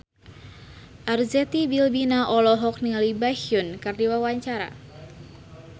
Arzetti Bilbina olohok ningali Baekhyun keur diwawancara